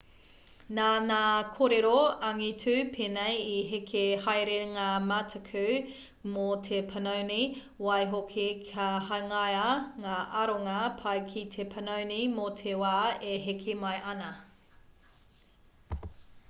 nā ngā kōrero angitu pēnei i heke haere ngā mataku mō te panoni waihoki ka hangaia ngā aronga pai ki te panoni mō te wā e heke mai ana